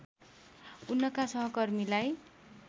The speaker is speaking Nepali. उनका सहकर्मीलाई